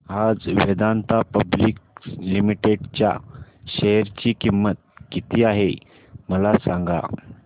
आज Vedanta public limited च्या share ची किंमत किती आहे मला सांगा